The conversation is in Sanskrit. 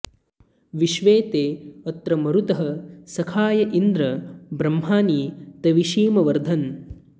विश्वे॑ ते॒ अत्र॑ म॒रुतः॒ सखा॑य॒ इन्द्र॒ ब्रह्मा॑णि॒ तवि॑षीमवर्धन्